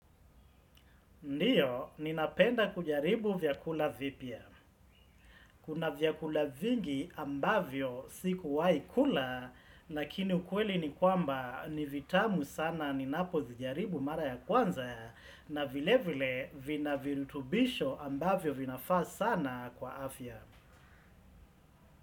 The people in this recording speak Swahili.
Ndiyo, ninapenda kujaribu vyakula vipya. Kuna vyakula vingi ambavyo si kuwahi kula, lakini ukweli ni kwamba ni vitamu sana ninapo zijaribu mara ya kwanza, na vile vile vina virutubisho ambavyo vinafaa sana kwa afya.